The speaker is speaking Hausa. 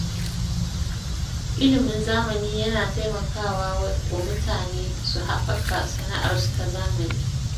Ilimin zamani yana taimaka wa mutane su haɓaka sana’arsu ta zamani.